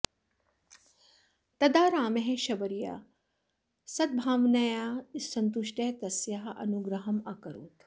तदा रामः शबर्याः सद्भावनया सन्तुष्टः तस्याः अनुग्रहम् अकरोत्